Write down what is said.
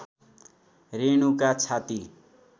रेणुका छाती